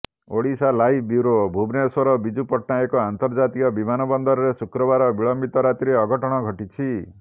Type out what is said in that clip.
Odisha live bureau Bhubaneswar Biju Patnaik ଅନ୍ତର୍ଜାତୀୟ ବିମାନ ବନ୍ଦରରେ ଶୁକ୍ରବାର ବିଳମ୍ବିତ ରାତିରେ ଅଘଟଣ ଘଟିଛି